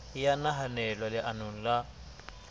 e ya nahanelwa leanong la